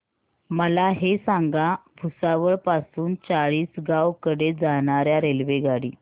मला हे सांगा भुसावळ पासून चाळीसगाव कडे जाणार्या रेल्वेगाडी